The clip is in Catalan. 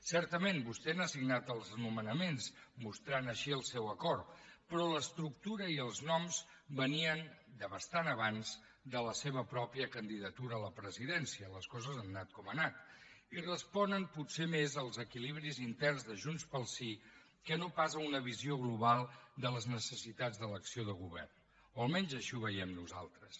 certament vostè n’ha signat els nomenaments mostrant així el seu acord però l’estructura i els noms venien de bastant abans de la seva pròpia candidatura a la presidència les coses han anat com han anat i responen potser més als equilibris interns de junts pel sí que no pas a una visió global de les necessitats de l’acció de govern o almenys així ho veiem nosaltres